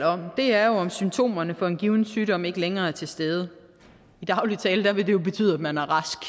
om er om symptomerne på en given sygdom ikke længere er til stede i daglig tale vil det jo betyde at man er rask